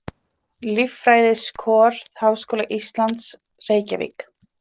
Líffræðiskor Háskóla Íslands, Reykjavík.